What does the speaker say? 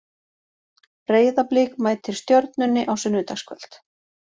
Breiðablik mætir Stjörnunni á sunnudagskvöld.